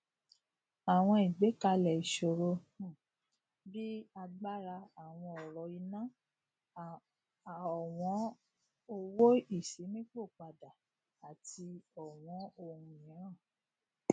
àwọn ìgbékalẹ ìṣoro um bí agbára ọwọn ọrọ iná ọwọn owó ìṣíninípò padà àti ọwọn ohun mìíràn